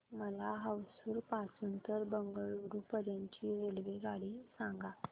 मला होसुर पासून तर बंगळुरू पर्यंत ची रेल्वेगाडी सांगा